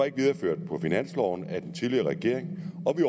ikke videreført på finansloven af den tidligere regering